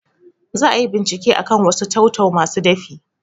Za ayi bincike akan wasu tau-tau masu dafi